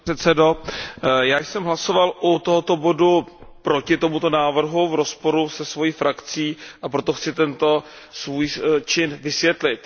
Pane předsedající, já jsem hlasoval u tohoto bodu proti tomuto návrhu v rozporu se svojí frakcí, a proto chci tento svůj čin vysvětlit.